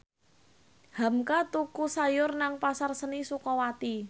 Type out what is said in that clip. hamka tuku sayur nang Pasar Seni Sukawati